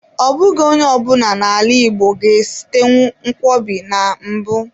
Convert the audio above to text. Ọ bụghị onye ọ bụla na-ala igbo ga-esitenwu nkwobi na mbụ.